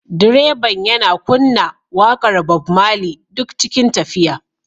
Direban yana kunna waƙar Bob Marley duk cikin tafiya